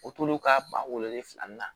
O tol'o ka ba wolonfila na